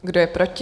Kdo je proti?